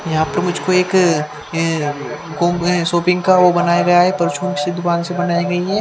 यहां पर मुझको एक अं गुम अं शॉपिंग का ओ बनाया गया है परचून के दुकान से बनाई गई है।